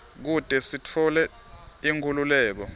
kute sitfole inkhululeko